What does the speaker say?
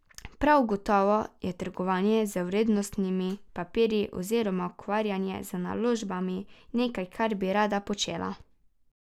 Prav gotovo je trgovanje z vrednostnimi papirji oziroma ukvarjanje z naložbami nekaj, kar bi rada počela.